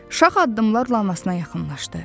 Şax addımlarla anasına yaxınlaşdı.